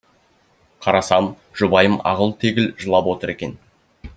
қарасам жұбайым ағыл тегіл жылап отыр екен